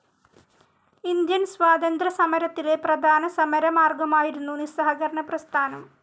Indian സ്വാതന്ത്ര്യ സമരത്തിലെ പ്രധാന സമരമാർഗമായിരുന്നു നിസ്സഹകരണ പ്രസ്ഥാനം.